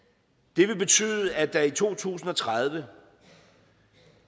det vil betyde at der i to tusind og tredive